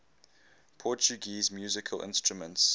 portuguese musical instruments